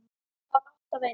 Það var alltaf eins.